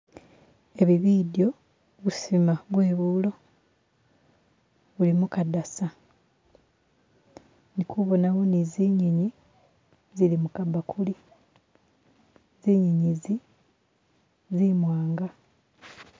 Ebi bidyo, busima bwe buulo buli mukadasa ndikubonawo ni zinyinyi zili mukabbakuli zinyinyi zi zimwanga.